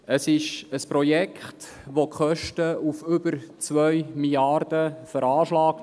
Bei diesem Projekt werden die Kosten auf über 2 Mrd. Franken veranschlagt.